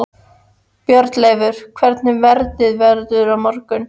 Bjarnleifur, hvernig verður veðrið á morgun?